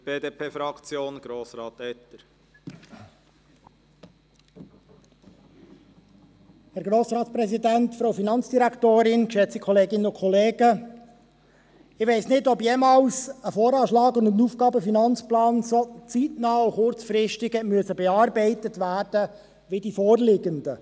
Ich weiss nicht, ob jemals ein VA und ein AFP so zeitnah und kurzfristig haben bearbeitet werden müssen, wie die vorliegenden.